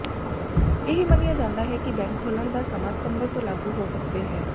ਇਹ ਮੰਨਿਆ ਜਾਂਦਾ ਹੈ ਕਿ ਬੈਂਕ ਖੋਲ੍ਹਣ ਦਾ ਸਮਾਂ ਸਤੰਬਰ ਤੋਂ ਲਾਗੂ ਹੋ ਸਕਦੇ ਹੈ